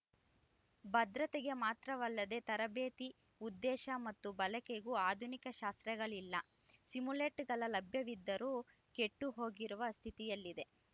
ಭದ್ರತೆಗೆ ಮಾತ್ರವಲ್ಲದೆ ತರಬೇತಿ ಉದ್ದೇಶ ಮತ್ತು ಬಳಕೆಗೂ ಆಧುನಿಕ ಶಾಸ್ತ್ರಗಳಿಲ್ಲ ಸಿಮ್ಯುಲೇಟರ್‌ಗಳು ಲಭ್ಯವಿದ್ದರೂ ಕೆಟ್ಟುಹೋಗಿರುವ ಸ್ಥಿತಿಯಲ್ಲಿವೆ